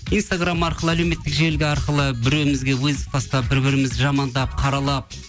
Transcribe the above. инстаграм арқылы әлеуметтік желі де арқылы біреуімізге вызов тастап бір бірімізді жамандап қаралап